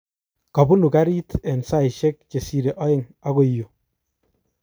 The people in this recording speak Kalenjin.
Kobunu garit eng saishek chesire aeng okoi yu.